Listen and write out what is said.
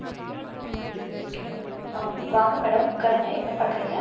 அஹ் வாங்க madam உட்காருங்க என்ன பார்க்கறீங்க